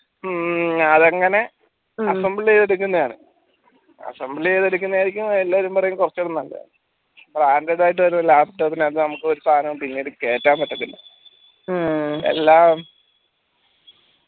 ഉം അതങ്ങെനെ assemble യ്‌തെടുകെന്നേന്ന് assemble യ്‌തെടുക്കുന്നതായിരിക്കും കൊറച്ചൂടെ നല്ലേ android ആയിട്ട് വെരുമ്പം നമ്മക്ക് laptop നകത്ത് നമ്മക് സാനം പിന്നീട് നമ്മക്ക് കേറ്റാൻ പറ്റത്തില്ല എല്ലാം